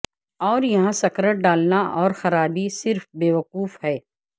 اور یہاں سکرٹ ڈالنا اور خرابی صرف بیوقوف ہے